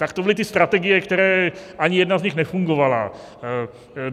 Tak to byly ty strategie, které - ani jedna z nich nefungovala.